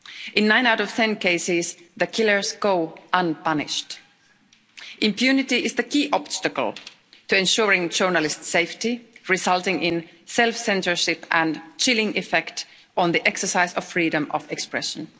In 9 out of 10 cases, the killers go unpunished. Impunity is the key obstacle to ensuring journalists' safety, resulting in self censorship and a chilling effect on the exercise of freedom of expression.